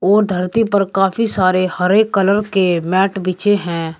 और धरती पर काफी सारे हरे कलर के मैट बीछे हैं।